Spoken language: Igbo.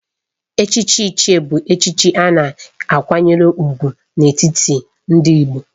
Echichi Ichie bụ echichi a na-akwanyere ùgwù n'etiti ndị Igbo